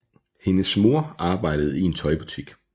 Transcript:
Hendes mor arbejdede i en tøjbutik